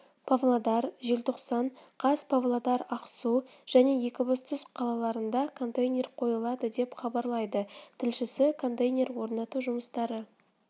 павлодар желтоқсан қаз павлодар ақсу және екібастұз қалаларында контейнер қойылады деп хабарлайды тілшісі контейнер орнату жұмыстары